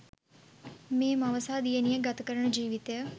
මේ මව සහ දියණිය ගත කරන ජිවිතය